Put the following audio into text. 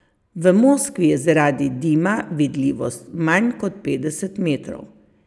V Moskvi je zaradi dima vidljivost manj kot petdeset metrov.